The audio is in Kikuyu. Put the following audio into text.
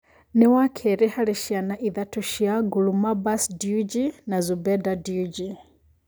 Nĩ wakerĩ harĩ ciana ithathatũ cia Gulamabbas Dewji na Zubeda Dewji